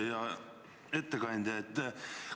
Hea ettekandja!